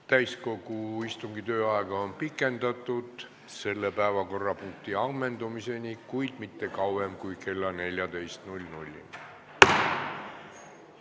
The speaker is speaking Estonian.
Täiskogu istungi tööaega on pikendatud selle päevakorrapunkti ammendumiseni, kuid mitte kauem kui kella 14-ni.